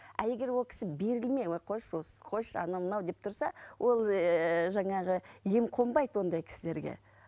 а егер ол кісі берілмей ой қойшы осы қойшы анау мынау дем тұрса ол ыыы жаңағы ем қонбайды ондай кісілерге